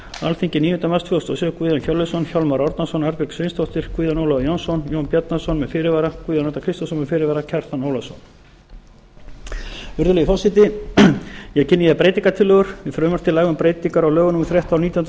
alþingi níunda mars tvö þúsund og sjö guðjón hjörleifsson hjálmar árnason arnbjörg sveinsdóttir guðjón ólafur jónsson jón bjarnason með fyrirvara guðjón arnar kristjánsson með fyrirvara og kjartan ólafsson virðulegi forseti ég kynni hér breytingartillögur við frumvarp til laga um breytingar á lögum númer þrettán nítján hundruð